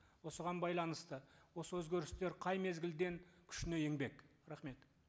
осыған байланысты осы өзгерістер қай мезгілден күшіне енбек рахмет